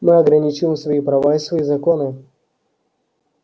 мы ограничиваем свои права и свои законы